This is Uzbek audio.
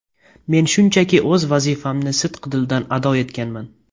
Men shunchaki o‘z vazifamni sidqidildan ado etganman.